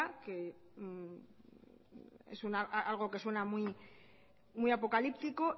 es algo que suena muy apocalíptico